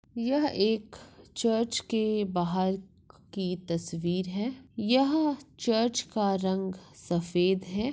यह एक चर्च के बाहर की तस्वीर है यह चर्च का रंग सफेद है।